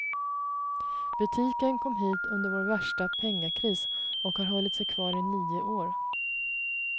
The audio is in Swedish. Butiken kom hit under vår värsta pengakris, och har hållit sig kvar i nio år.